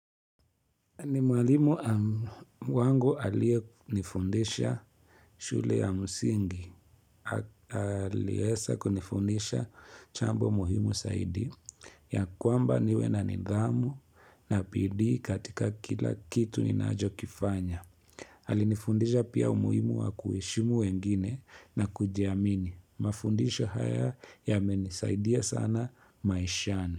Ni mwalimu wangu aliye nifundisha shule ya msingi, aliweza kunifundisha jambo muhimu zaidi ya kwamba niwe na nidhamu na bidii katika kila kitu ninacho kifanya. Alinifundisha pia umuhimu wa kuheshimu wengine na kujiamini. Mafundisho haya yamenisaidia sana maishani.